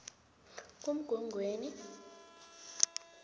kumgwengweni